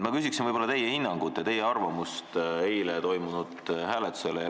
Ma küsin teie hinnangut ja teie arvamust eile toimunud hääletuse kohta.